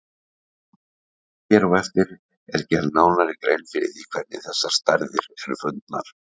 Hér á eftir er gerð nánari grein fyrir því hvernig þessar stærðir eru fundnar.